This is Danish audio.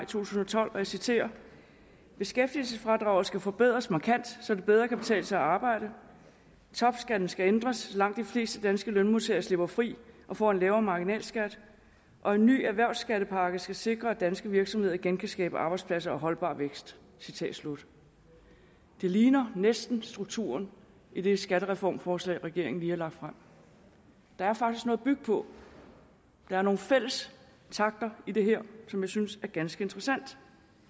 tusind og tolv og jeg citerer beskæftigelsesfradraget skal forbedres markant så det bedre kan betale sig at arbejde topskatten skal ændres så langt de fleste danske lønmodtagere slipper fri og får en lavere marginalskat og en ny erhvervsskattepakke skal sikre at danske virksomheder igen kan skabe arbejdspladser og holdbar vækst citat slut det ligner næsten strukturen i det skattereformforslag regeringen lige har lagt frem der er faktisk noget at bygge på der er nogle fælles takter i det her som jeg synes er ganske interessante